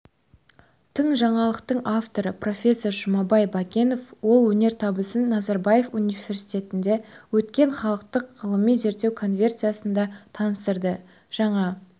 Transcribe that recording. тың жаңалықтың авторы профессор жұмабай бәкенов ол өнертабысын назарбаев универтисетінде өткен халықаралық ғылыми-зерттеу конференциясында таныстырды жаңа